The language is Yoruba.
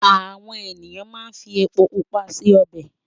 Àwọn ènìyàn máa ń fi epo pupa se ọbẹ̀.